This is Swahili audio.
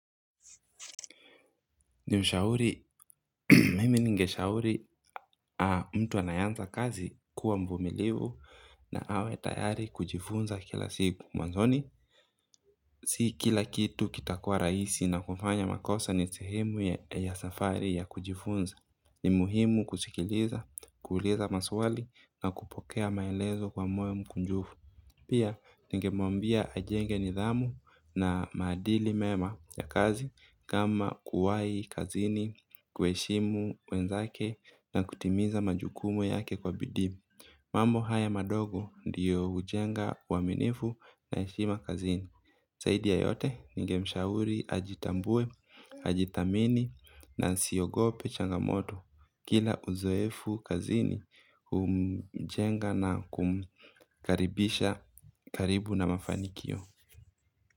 Ni mshauri, mimi ningeshauri mtu anayeanza kazi kuwa mvumilivu na awe tayari kujifunza kila siku mwanzoni. Si kila kitu kitakua raisi na kufanya makosa ni sehemu ya safari ya kujifunza. Ni muhimu kusikiliza, kuuuliza maswali na kupokea maelezo kwa moyo mkunjufu. Pia ningemwambia ajenge nidhamu na maadili mema ya kazi kama kuwahi kazini kuheshimu wenzake na kutimiza majukumu yake kwa bidiii. Mambo haya madogo ndiyo hujenga uaminifu na heshima kazini za yayote ningemshauri ajitambue, ajithamini na asiogope changamoto. Kila uzoefu kazini umjenga na kumkaribisha. Karibu na mafanikio.